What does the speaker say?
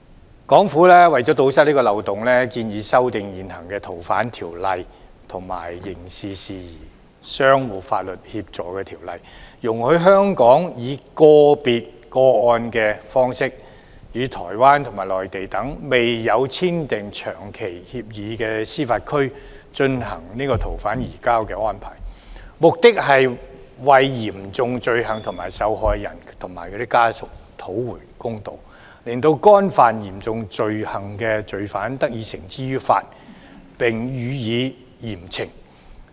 香港政府為了堵塞這個漏洞，建議修訂現行《逃犯條例》及《刑事事宜相互法律協助條例》，容許香港以個別個案的形式，與台灣及內地等未有簽訂長期移交逃犯協定的司法管轄區進行逃犯移交安排，目的是為嚴重罪行的受害人及其家屬討回公道，令干犯嚴重罪行的罪犯得以繩之以法，並予以嚴懲。